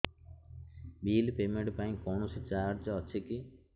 bill payment ପାଇଁ କୌଣସି charge ଅଛି କି